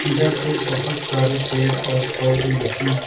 इधर पे बहोत सारे पेड़ और पौधे हैं।